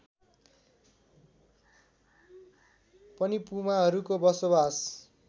पनि पुमाहरूको बसोबास